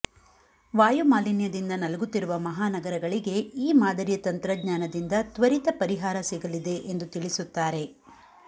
ವಾಯಮಾಲಿನ್ಯದಿಂದ ನಲುಗುತ್ತಿರುವ ಮಹಾನಗರಗಳಿಗೆ ಈ ಮಾದರಿಯ ತಂತ್ರಜ್ಞಾನದಿಂದ ತ್ವರಿತ ಪರಿಹಾರ ಸಿಗಲಿದೆ ಎಂದು ತಿಳಿಸುತ್ತಾರೆ